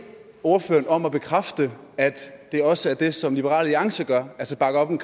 ordføreren om at bekræfte at det også er det som liberal alliance gør altså bakker op om